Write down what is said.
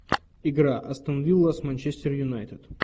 игра астон вилла с манчестер юнайтед